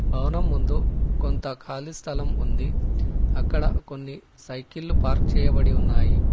భవనం ముందు కొంత ఖాళీ స్థలం ఉంది అక్కడ కొన్ని సైకిల్లు పార్క్ చేయబడి ఉన్నాయి.